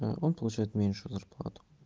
он получает меньшую зарплату